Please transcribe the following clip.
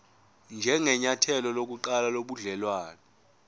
njengenyathelo lokuqala lobudelwane